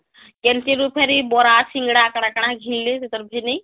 Canteen ରୁ ଫିରି ବରା ସିଙ୍ଗିଡା କାଣା କାଣା ଘିନିଲେ ....ନେଇ